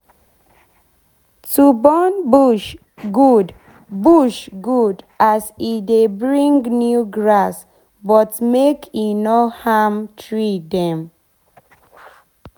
to burn bush good bush good as e dey bring new grass but make e nor harm tree dem